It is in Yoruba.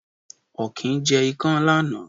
Ọ̀kín jẹ ikán lánàá.